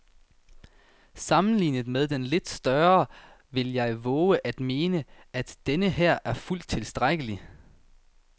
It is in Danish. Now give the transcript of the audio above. Sammenlignet med den lidt større vil jeg vove at mene, at denneher er fuldt tilstrækkelig.